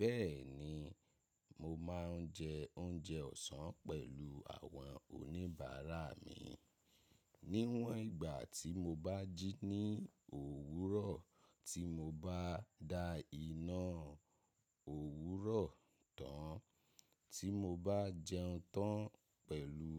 Bẹ́ẹ̀ni, mo máa ń jẹ oúnjẹ ọ̀sán pẹ̀lú àwọn oníbàárà mi. Níwọn ìgbà tí mo bá jí ní òwúrọ̀, tí mo bá da iná òwúrọ̀ tán, tí mo bá jẹun tán pẹ̀lú